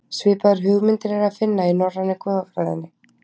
Svipaðar hugmyndir er að finna í norrænu goðafræðinni.